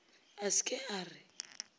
a se ke a re